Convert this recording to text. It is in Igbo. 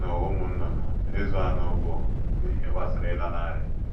N’ụwa ụmụ nnụnụ, ịzụ anụ bụ ihe gbasara ịlanarị.